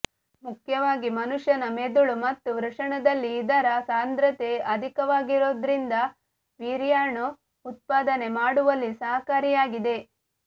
ಮುಖ್ಯವಾಗಿ ಮನುಷ್ಯನ ಮೆದುಳು ಮತ್ತು ವೃಷಣದಲ್ಲಿ ಇದರ ಸಾಂಧ್ರತೆ ಅಧಿಕವಾಗಿರೋದ್ರಿಂದ ವೀರ್ಯಾಣು ಉತ್ಪಾದನೆ ಮಾಡುವಲ್ಲಿ ಸಹಾಯಕಾರಿಯಾಗಿದೆ